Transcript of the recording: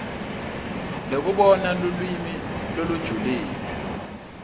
lekubona lulwimi lolujulile